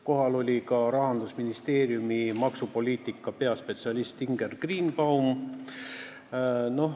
Kohal oli ka Rahandusministeeriumi maksupoliitika osakonna peaspetsialist Inger Greenbaum.